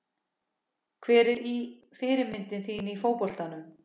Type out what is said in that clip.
Hver er fyrirmynd þín í fótboltanum?